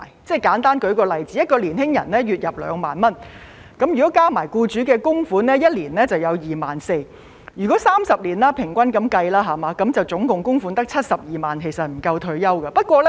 我簡單舉個例子，一名年輕人月入2萬元，加上僱主的供款，一年便有 24,000 元，以30年平均計算，合共供款只有72萬元，是不夠退休的。